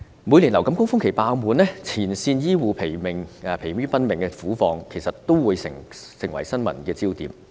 每年流感高峰期病房爆滿，前線醫護人員疲於奔命的苦況，都成為新聞焦點。